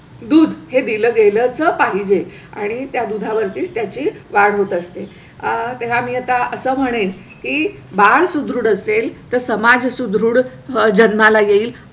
दूध हे दिलं गेलचं पाहिजे आणि त्या दुधा वरतीच त्याची वाढ होत असते आहे आणि आता असं म्हणेल की बाळ सुदृढ असेल तसं समाज सुदृढ जन्माला येईल.